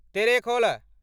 Terekhol